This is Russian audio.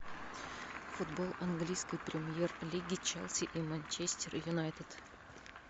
футбол английской премьер лиги челси и манчестер юнайтед